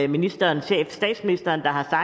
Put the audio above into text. ministerens chef statsministeren har